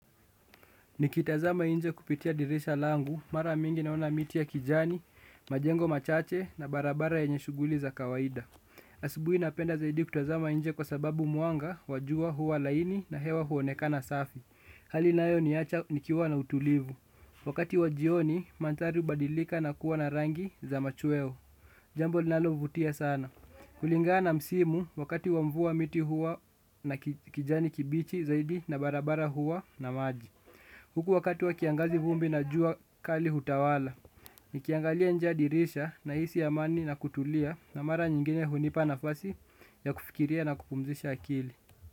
Nikitazama nje kupitia dirisha langu, mara mingi naona miti ya kijani, majengo machache na barabara yenye shuguli za kawaida. Asubuhi napenda zaidi kutazama nje kwa sababu muanga, wa jua huwa laini na hewa huonekana safi. Hali inayo niacha nikiwa na utulivu. Wakati wa jioni, manthari hubadilika na kuwa na rangi za machueo. Jambo linalovutia sana. Kulingana na msimu wakati wa mvua miti huwa na kijani kibichi zaidi na barabara huwa na maji. Huku wakati wa kiangazi vumbi na jua kali hutawala. Nikiangalia nje ya dirisha nahisi amani na kutulia na mara nyingine hunipa nafasi ya kufikiria na kupumzisha akili.